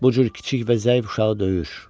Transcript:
Bu cür kiçik və zəif uşağı döyür.